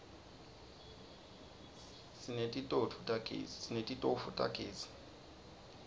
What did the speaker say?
sineti tofu tagezi